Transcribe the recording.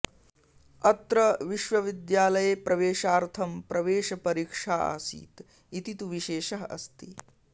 अत्र विश्वविद्यालये प्रवेशार्थं प्रवेशपरीक्षा आसीत् इति तु विशेषः अस्ति